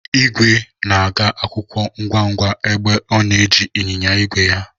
Igwe na-aga akwụkwọ ngwa ngwa mgbe ọ na-eji ịnyịnya ígwè ya.